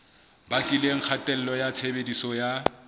bakileng kgatello ya tshebediso ya